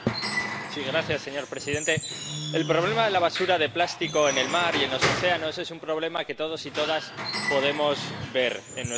Señor presidente, el problema de la basura de plástico en el mar y en los océanos es un problema que todos y todas podemos ver en nuestro día a día.